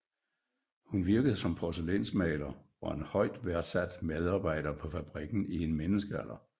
Hun virkede som porcelænsmaler og en højt værdsat medarbejder på fabrikken i en menneskealder